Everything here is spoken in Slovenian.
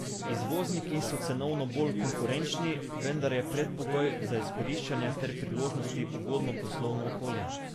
Izvozniki so cenovno bolj konkurenčni, vendar je predpogoj za izkoriščanje te priložnosti ugodno poslovno okolje.